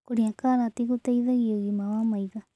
Kũrĩa karatĩ gũteĩthagĩa ũgima wa maĩtho